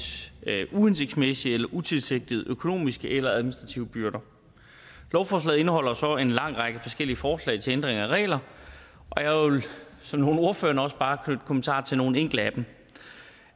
uhensigtsmæssige eller utilsigtede økonomiske eller administrative byrder lovforslaget indeholder så en lang række forskellige forslag til ændringer af regler og jeg vil som nogle af ordførererne også bare knytte kommentarer til nogle enkelte